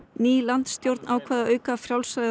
ný landstjórn ákvað að auka frjálsræði